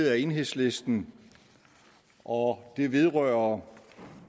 af enhedslisten og det vedrører